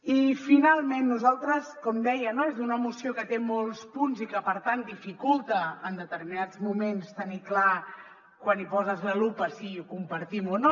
i finalment nosaltres com deia no és una moció que té molts punts i que per tant dificulta en determinats moments tenir clar quan hi poses la lupa si ho compartim o no